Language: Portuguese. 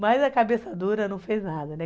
Mas a cabeça dura não fez nada, né?